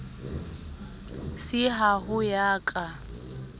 c ha ho ya ka